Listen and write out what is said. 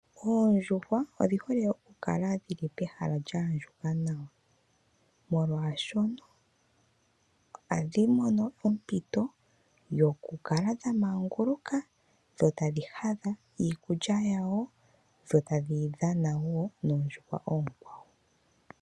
Oondjuhwa odhi hole okukala dhi li pehala lya andjuka nawa, molwaashoka ohadhi mono ompito yokukala dha manguluka, dho tadhi hadha iikulya yadho, dho tadhi dhana wo noondjuhwa oonkwawo.